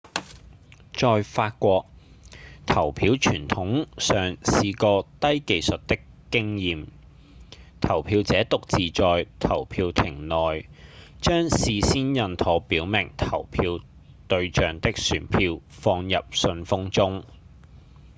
在法國投票傳統上是個低技術的經驗：投票者獨自在投票亭內將事先印妥表明投票對象的選票放入信封中